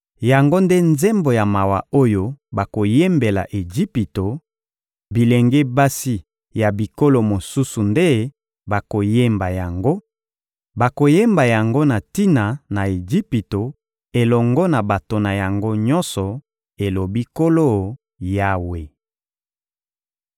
Yango nde nzembo ya mawa oyo bakoyembela Ejipito; bilenge basi ya bikolo mosusu nde bakoyemba yango, bakoyemba yango na tina na Ejipito elongo na bato na yango nyonso, elobi Nkolo Yawe.»